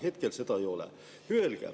Hetkel seda ei ole.